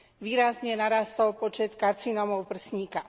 výrazne narástol počet karcinómov prsníka.